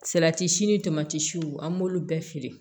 Salati si ni tamatiw an b'olu bɛɛ feere